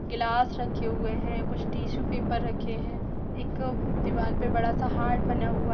गिलास रखे हुए हैं कुछ टिशु पेपर रखे हैं एक दीवाल पे बड़ा-सा हार्ट बना हुआ--